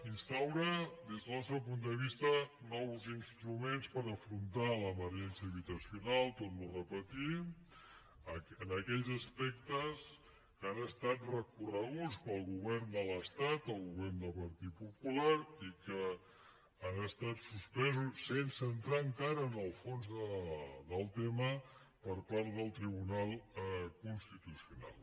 instaura des del nostre punt de vista nous instruments per afrontar l’emergència habitacional ho torno a repetir en aquells aspectes que han estat recorreguts pel govern de l’estat el govern del partit popular i que han estat suspesos sense entrar encara en el fons del tema per part del tribunal constitucional